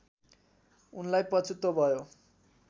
उनलाई पछुतो भयो